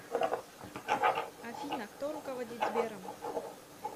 афина кто руководит сбером